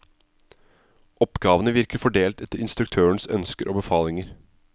Oppgavene virker fordelt etter instruktørens ønsker og befalinger.